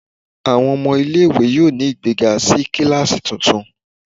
Awọn ọmọ ile-iwe yoo ni igbega si kilasi tuntun